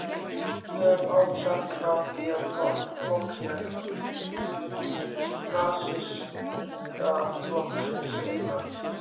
Við höfum áður sagt frá því, að flokksmenn Nasistaflokksins innan